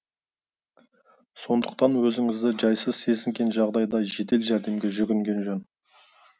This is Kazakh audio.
сондықтан өзіңізді жайсыз сезінген жағдайда жедел жәрдемге жүгінген жөн